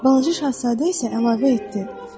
Balaca Şahzadə isə əlavə etdi: